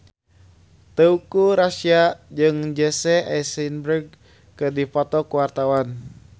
Teuku Rassya jeung Jesse Eisenberg keur dipoto ku wartawan